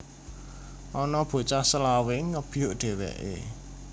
Ana bocah selawe ngebyuk dheweke